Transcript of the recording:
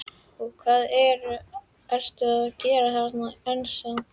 Og hvað ertu að gera þarna ennþá?